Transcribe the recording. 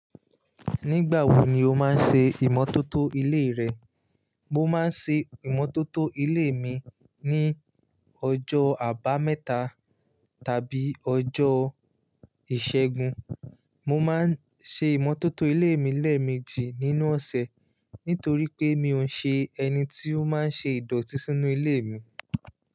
Nígbà wo ni o máa ń ṣe ìmọ́tótó ilé rẹ? Mo máa ń ṣe ìmọ́tótó ilé mi ní ọjọ́ àbámẹ́ta tàbí ọjọ́ ìṣẹ́gun. Mo máa ń ṣe ìmọ́tótó ilé mi lẹ́ẹ̀mejì nínú ọ̀sẹ̀ nítorí pé mi ò ṣe ẹni tí ó máa ń ṣe ìdọ̀tí sínú ilé mi.